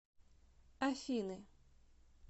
афины